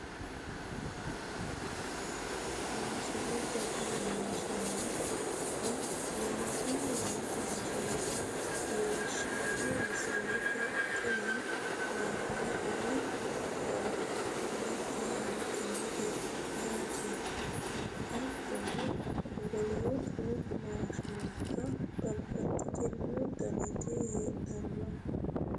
Maashinubba tini misilete aana leeltanni nooti maashinubba leellishshanno misileeti tini maashine umo hanxannite yaate hattono woloottu maashinubbano babbaxxino daniti heedhanno